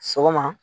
Sɔgɔma